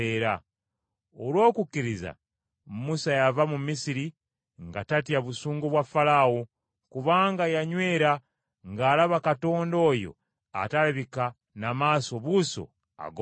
Olw’okukkiriza Musa yava mu Misiri nga tatya busungu bwa Falaawo, kubanga yanywera ng’alaba Katonda oyo atalabika na maaso buuso ag’omubiri.